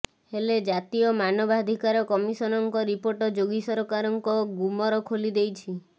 ହେଲେ ଜାତୀୟ ମାନବାଧିକାର କମିଶନଙ୍କ ରିପୋର୍ଟ ଯୋଗୀ ସରକାରଙ୍କ ଗୁମର ଖୋଲି ଦେଇଛି